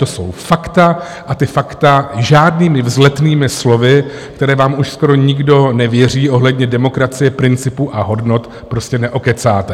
To jsou fakta a ta fakta žádnými vzletnými slovy, která vám už skoro nikdo nevěří, ohledně demokracie principu a hodnot prostě neokecáte.